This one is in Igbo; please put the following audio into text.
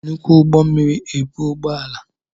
E jị nnukwu ụgbọ mmiri ebu ụgbọ ala.